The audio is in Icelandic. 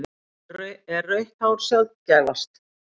Er rautt hár sjaldgæfast?